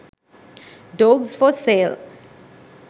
dogs for sale